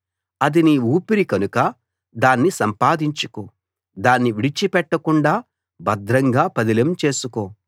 అది నీ ఊపిరి కనుక దాన్ని సంపాదించుకో దాన్ని విడిచిపెట్టకుండా భద్రంగా పదిలం చేసుకో